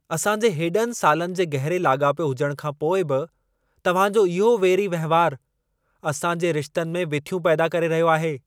असां जे हेॾनि सालनि जे गहिरे लाॻापे हुजण खां पोइ बि, तव्हां जो इहो वेरी वहिंवारु, असां जे रिश्तनि में विथियूं पैदा करे रहियो आहे।